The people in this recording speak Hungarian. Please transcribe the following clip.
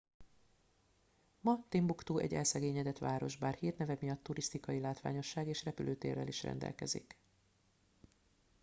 ma timbuktu egy elszegényedett város bár hírneve miatt turisztikai látványosság és repülőtérrel is rendelkezik